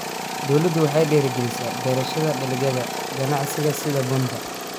Dawladdu waxay dhiirigelinaysaa beerashada dalagyada ganacsiga sida bunka.